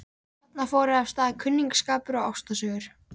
Þarna fóru af stað kunningsskapur og ástarsögur.